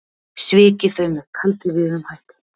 Svikið þau með kaldrifjuðum hætti.